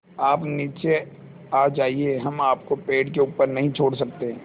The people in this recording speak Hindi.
आप नीचे आ जाइये हम आपको पेड़ के ऊपर नहीं छोड़ सकते